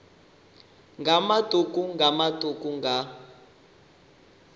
nga matuku nga matuku nga